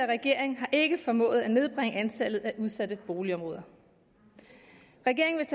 regering har ikke formået at nedbringe antallet af udsatte boligområder regeringen